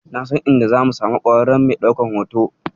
Na san inda zamu samu ƙwararren mai ɗaukan hoto.